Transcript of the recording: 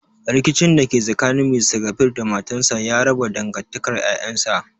Rikicin da ke tsakanin Mr kabir da matarsa ya raba dangantakar 'ƴa'ƴansa.